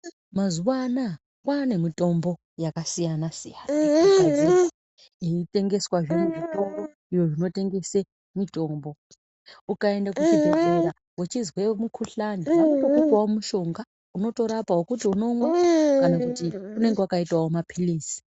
Mazuva ana aya kwane mitombo yakasiyana siyana inotengeswa muzvitoro zvinotengesa mutombo ukaenda kuzvibhedhlera uchinzwe mukuhlani vanotokupawo mushonga wekuti unomwa kana kuti unenge wakaitawo mapirisi .